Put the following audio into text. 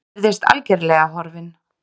Virðist algerlega horfinn.